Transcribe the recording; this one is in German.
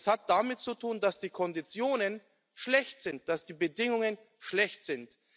Das hat damit zu tun, dass die Konditionen schlecht sind, dass die Bedingungen schlecht sind.